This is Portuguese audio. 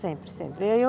Sempre, sempre.